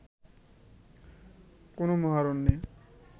কোনো মহারণ্যে